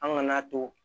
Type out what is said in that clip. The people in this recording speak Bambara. An ŋana to